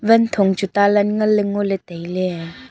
wanthong chu talan ngan ley ngo ley tai ley.